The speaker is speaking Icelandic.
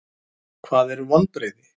Hvað eru vonbrigði?